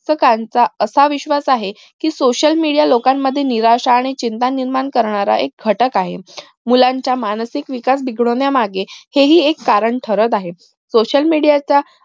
पुस्तकांचा असा विश्वास आहे कि social media लोकांन मधील निराशा आणि चिंता निर्माण करणारा एक घटक आहे मुलाचा मानसिक विकास बिघडवण्या मागे हेही एक कारण ठरत आहे social media